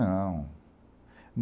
Não.